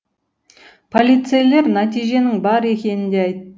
полицейлер нәтиженің бар екенін де айтады